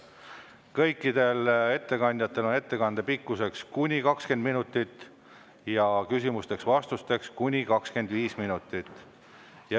Kõikidel ettekandjatel on ettekande pikkuseks kuni 20 minutit ja küsimusteks-vastusteks kuni 25 minutit.